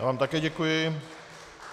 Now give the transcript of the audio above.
Já vám také děkuji.